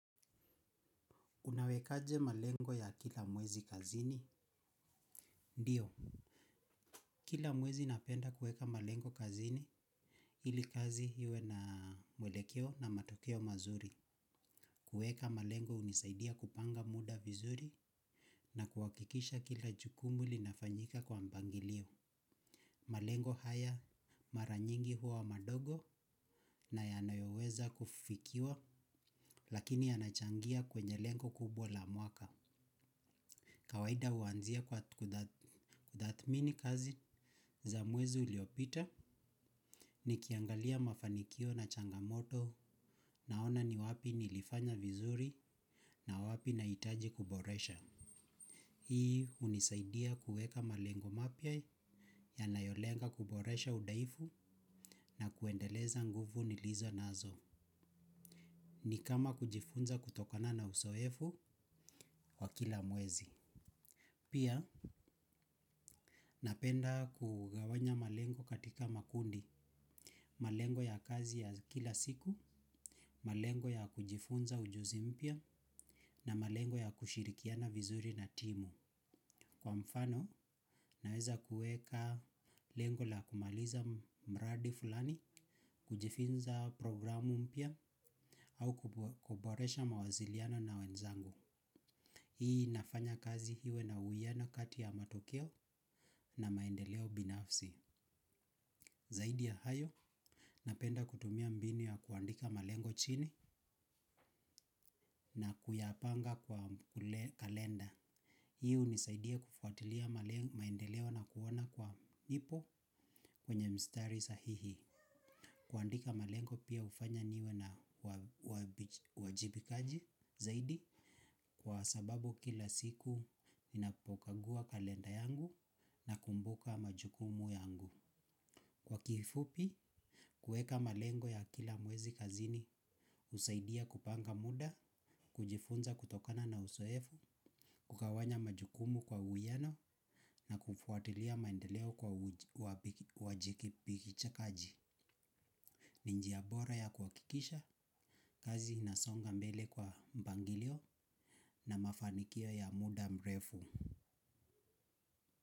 Unawekaje malengo ya kila mwezi kazini? Ndiyo. Kila mwezi napenda kueka malengo kazini. Hili kazi hiwe na mwelekeo na matokeo mazuri. Kuweka malengo hunisaidia kupanga muda vizuri. Na kuwakikisha kila jukumu linafanyika kwa mbangilio. Malengo haya mara nyingi hua madogo na yanayoweza kufikiwa. Lakini yanachangia kwenye lengo kubwa la mwaka. Kawaida huanzia kwa kudhatmini kazi za mwezi uliopita ni kiangalia mafanikio na changamoto naona ni wapi nilifanya vizuri na wapi naitaji kuboresha. Ii hunisaidia kueka malengo mapya yanayo lenga kuboresha udaifu na kuendeleza nguvu nilizonazo. Ni kama kujifunza kutokana na usoefu kwa kila mwezi. Pia napenda kugawanya malengo katika makundi, malengo ya kazi ya kila siku, malengo ya kujifunza ujuzi mpia na malengo ya kushirikiana vizuri na timu. Kwa mfano, naweza kueka lengo la kumaliza mradi fulani, kujifinza programu mpia au kuboresha mawaziliano na wenzangu. Hii nafanya kazi hiwe na uiyana kati ya matokeo na maendeleo binafsi. Zaidi ya hayo, napenda kutumia mbini ya kuandika malengo chini na kuyapanga kwa kalenda. Hi unisaidia kufuatilia maendeleo na kuwana kwa ipo kwenye mstari sahihi. Kwandika malengo pia ufanya niwe na uajibikaji zaidi kwa sababu kila siku ninapokagua kalenda yangu nakumbuka majukumu yangu. Kwa kifupi, kueka malengo ya kila mwezi kazini, usaidia kupanga muda, kujifunza kutokana na usoefu, kukawanya majukumu kwa huiyano na kufuatilia maendeleo kwa wajikipikichakaji. Ni njia bora ya kuakikisha, kazi inasonga mbele kwa mpangilio na mafanikio ya muda mrefu.